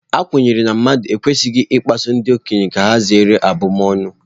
A kwenyere na mmadụ ekwesịghị ịkpasu ndị agadi ka ha zere ọbụbụ ọnụ.